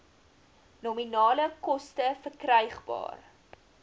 nominale koste verkrygbaar